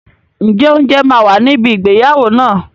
Ǹjẹ́ oúnjẹ máa wà níbi ìgbéyàwó náà?